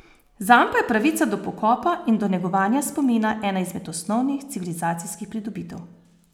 Zanj pa je pravica do pokopa in do negovanja spomina ena izmed osnovnih civilizacijskih pridobitev.